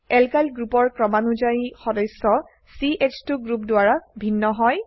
alkyl গ্ৰুপৰ ক্ৰমানুযায়ী সদস্য চ2 গ্ৰুপ দ্বাৰা ভিন্ন হয়